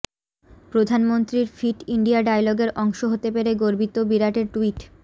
প্রধাননমন্ত্রীর fit India ডায়ালগের অংশ হতে পেরে গর্বিত বিরাটের টুইট